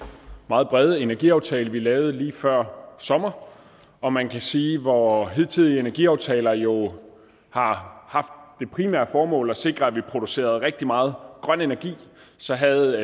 meget brede energiaftale vi lavede lige før sommer og man kan sige at hvor hidtidige energiaftaler jo har haft det primære formål at sikre at vi producerer rigtig meget grøn energi så havde